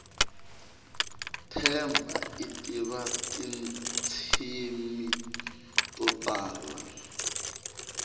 themba itiva tintshimi totala